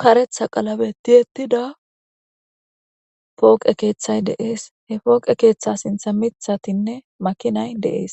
karetha qalabe ti ettida pooqe keeththay deees he pooqe keeththa sintha mithatinne makinay deees